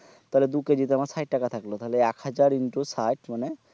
তাহলে দু কেজি তে আমার সাইট টাকা থাকলো তাহলে এক হাজার in tu সাইট মানে